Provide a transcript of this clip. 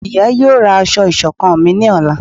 ìyá yóò ra asọ iṣọkan mí ní Ọla